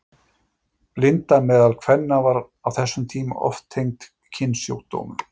Blinda meðal kvenna var á þessum tíma oft tengd kynsjúkdómum.